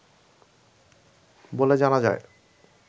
বলে জানা যায়